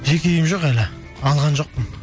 жеке үйім жоқ әлі алған жоқпын